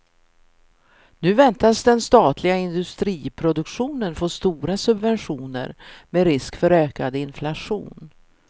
Nu väntas den statliga industriproduktionen få stora subventioner, med risk för ökad inflation.